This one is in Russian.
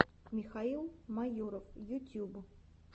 михаил майоров ютюб